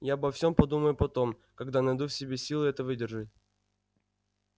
я обо всем подумаю потом когда найду в себе силы это выдержать